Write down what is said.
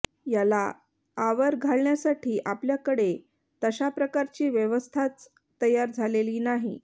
याला आवर घालण्यासाठी आपल्याकडे तशा प्रकारची व्यवस्थाच तयार झालेली नाही